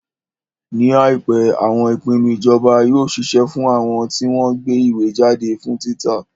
Ní àìpé, àwọn ìpinnu ìjọba yóò ṣiṣẹ́ fún àwọn tí wọ́n ń gbé ìwé jáde fún títa.